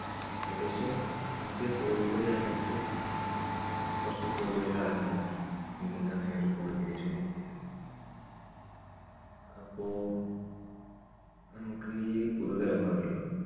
ഏകദേശം India qualify ആയിട്ട് കുറച്ച് കൂടുതൽ കാലമായിട്ടുണ്ട് ഇന്ത്യക്ക് അങ്ങനെ ഒരു qualification കിട്ടിയിട്ട്. അപ്പോ നമുക്ക് ഈ പുതുതലമുറകളിലും